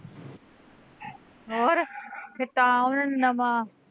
ਹੋਰ ਫੇਰ ਤਾਂ ਉਹਨਾਂ ਨੇ ਨਵਾਂ